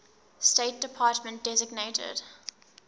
state department designated